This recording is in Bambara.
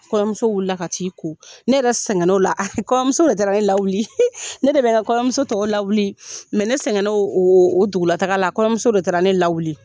Kɔɲɔmuso wuli la ka t'i ko ne yɛrɛ sɛgɛn o la kɔɲɔmuso de taara ne lawuli ne de bɛ n ka kɔɲɔmuso tɔw lawu ne sɛgɛn na o o dugulataga la kɔɲɔmuso de taara ne lawuli.